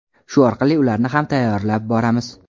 Shu orqali ularni ham tayyorlab boramiz.